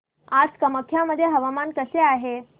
आज कामाख्या मध्ये हवामान कसे आहे